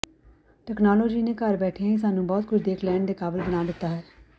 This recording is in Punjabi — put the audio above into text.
ਤਕਨਾਲੋਜੀ ਨੇ ਘਰ ਬੈਠਿਆਂ ਹੀ ਸਾਨੂੰ ਬਹੁਤ ਕੁਝ ਦੇਖ ਲੈਣ ਦੇ ਕਾਬਲ ਬਣਾ ਦਿੱਤਾ ਹੈ